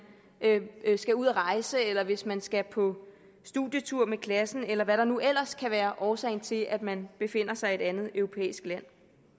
skal ud at rejse eller hvis man skal på studietur med klassen eller hvad der nu ellers kan være årsagen til at man befinder sig i et andet europæisk land